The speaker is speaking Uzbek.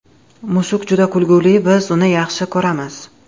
Mushuk juda kulgili, biz uni yaxshi ko‘ramiz!